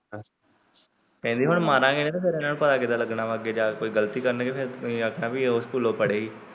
ਕਹਿੰਦੀ ਹੁਣ ਮਾਰਾਂਗੇ ਨੀ ਤਾਂ ਫਿਰ ਇਹਨਾਂ ਨੂੰ ਪਤਾ ਕਿਦਾਂ ਲੱਗਣਾ ਅੱਗੇ ਜਾ ਕੇ ਕੋਈ ਗਲਤੀ ਕਰਨਗੇ ਫਿਰ ਤੁਸੀਂ ਆਖਣਾ ਉਹ ਸਕੂਲੋ ਪੜੇ ਸੀ।